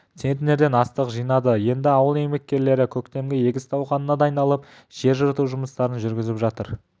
центнерден астық жинады енді ауыл еңбеккерлері көктемгі егіс науқанына дайындалып жер жырту жұмыстарын жүргізіп жатыр